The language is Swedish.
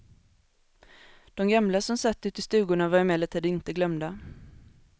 De gamla som satt uti stugorna var emellertid inte glömda.